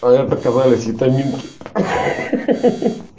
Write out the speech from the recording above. а это оказались витаминки ха ха